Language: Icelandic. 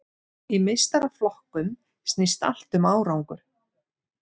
Í meistaraflokkum snýst allt um árangur.